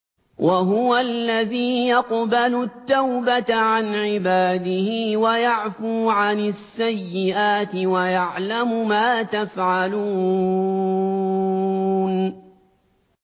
وَهُوَ الَّذِي يَقْبَلُ التَّوْبَةَ عَنْ عِبَادِهِ وَيَعْفُو عَنِ السَّيِّئَاتِ وَيَعْلَمُ مَا تَفْعَلُونَ